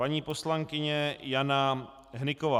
Paní poslankyně Jana Hnyková.